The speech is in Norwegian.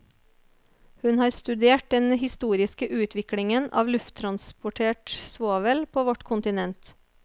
Hun har studert den historiske utviklingen av lufttransportert svovel på vårt kontinent.